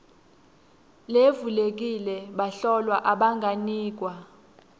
levulekile bahlolwa abanganikwa